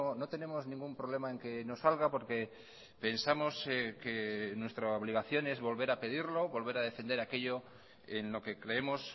no tenemos ningún problema en que no salga porque pensamos que nuestra obligación es volver a pedirlo volver a defender aquello en lo que creemos